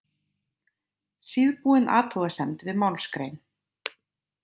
Síðbúin athugasemd við málsgrein.